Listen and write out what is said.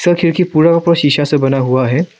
खिड़की पूरा का पूरा शिशा से बना हुआ है।